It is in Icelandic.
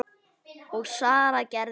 Og Sara gerði það.